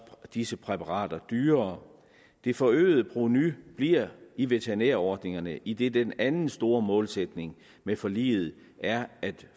disse præparater dyrere det forøgede provenu bliver i veterinærordningerne idet den anden store målsætning med forliget er at